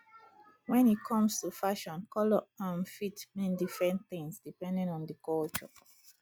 when e comes to fashion colour um fit mean different things depending on di culture